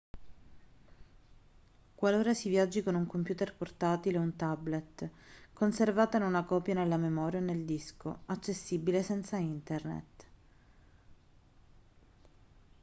qualora si viaggi con un computer portatile o un tablet conservatene una copia nella memoria o nel disco accessibile senza internet